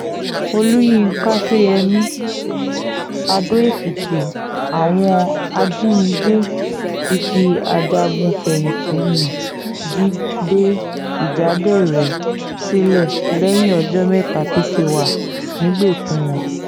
olùyinka ṣọ́yẹ́mi adó-èkìtì àwọn ajànigbé ti fi ajagun-fẹ̀yìntì ńnì jíde ìjáderẹ̀ sílẹ̀ lẹ́yìn ọjọ́ mẹ́ta tó ti wà nígbèkùn wọn